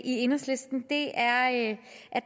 i enhedslisten er at